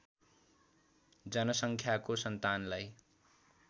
जनसङ्ख्याको सन्तानलाई